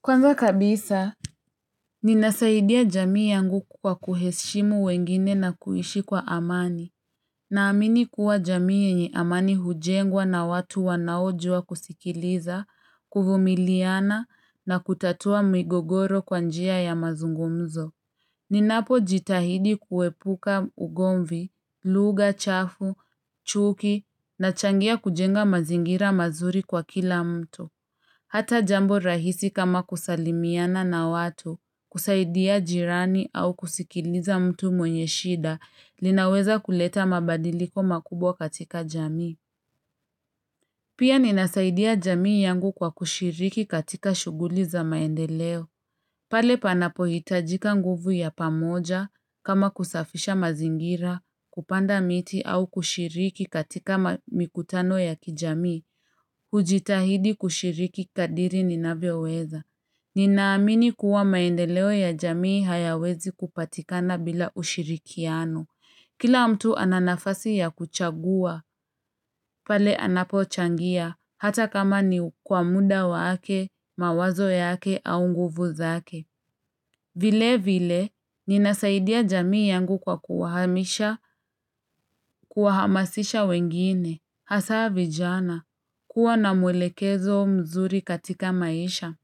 Kwanza kabisa Ninasaidia jamii yangu kwa kuheshimu wengine na kuishi kwa amani Naamini kuwa jamii yenye amani hujengwa na watu wanaojua kusikiliza, kuvumiliana na kutatua migogoro kwa njia ya mazungumzo Ninapojitahidi kuepuka ugomvi, lugha, chafu, chuki nachangia kujenga mazingira mazuri kwa kila mtu Hata jambo rahisi kama kusalimiana na watu, kusaidia jirani au kusikiliza mtu mwenye shida, linaweza kuleta mabadiliko makubwa katika jamii. Pia ninasaidia jamii yangu kwa kushiriki katika shughuli za maendeleo. Pale panapohitajika nguvu ya pamoja, kama kusafisha mazingira, kupanda miti au kushiriki katika mikutano ya kijamii, hujitahidi kushiriki kadri ninavyoweza. Ninaamini kuwa maendeleo ya jamii hayawezi kupatikana bila ushirikiano. Kila mtu ana nafasi ya kuchagua, pale anapochangia, hata kama ni kwa muda wake, mawazo yake, au nguvu zake. Vile vile, ninasaidia jamii yangu kwa kuhamisha, kuhamasisha wengine. Hasa vijana, kuwa na mwelekezo mzuri katika maisha.